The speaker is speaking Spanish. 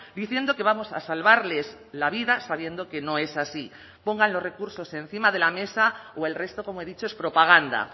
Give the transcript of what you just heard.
diciendo que vamos a salvarles la vida sabiendo que no es así pongan los recursos encima de la mesa o el resto como he dicho es propaganda